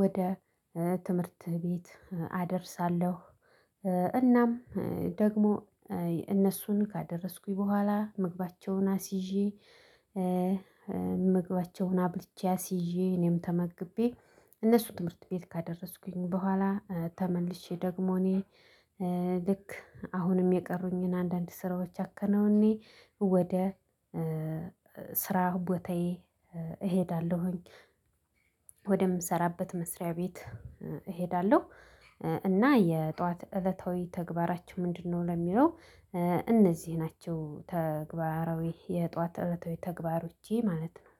ወደ ትምህርት ቤት አደርሳለሁ። እናም ደግሞ እነሱን ካደረስኩኝ በኋላ ምግባቸውን አስይዤ ምግባቸውን አብልቼ አስይዤ እኔም ተመግቤ እነሱ ትምህርት ቤት ካደረስኩኝ በኋላ ተመልሼ ደግሞ እኔ ልክ አሁንም የቀሩኝን አንዳንድ ስራዎች አከናውኔ ወደ ስራ ቦታዬ እሄዳለሁኝ ወደምሰራበት መስሪያ ቤት እሄዳለሁ። እና የጧት እለታዊ ተግባራችን ምንድነው? ለሚለው እነዚህ ናቸው ተግባራዊ የጧት እለት ተግባሮቼ ማለት ነው።